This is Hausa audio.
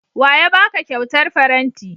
Wa ya ba ka kyautar faranti?